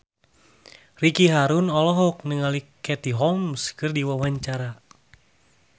Ricky Harun olohok ningali Katie Holmes keur diwawancara